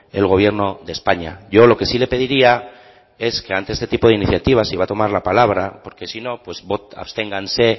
el gobierno de españa yo lo que sí le pediría es que ante este tipo de iniciativas si va a tomar la palabra porque si no absténganse